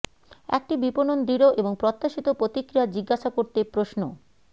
একটি বিপণন দৃঢ় এবং প্রত্যাশিত প্রতিক্রিয়া জিজ্ঞাসা করতে প্রশ্ন